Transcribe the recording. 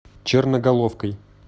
черноголовкой